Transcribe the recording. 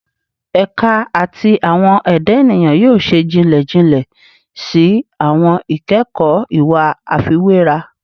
Ẹka ti Awọn Eda Eniyan yoo ṣe jinlẹ jinlẹ si awọn ikẹkọ iwe afiwera